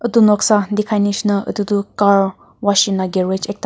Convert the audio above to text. itu noksa dikhai nishina itutu car washing la garage ekta.